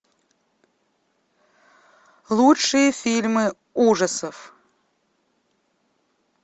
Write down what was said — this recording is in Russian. лучшие фильмы ужасов